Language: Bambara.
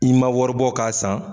I ma wari bɔ ka san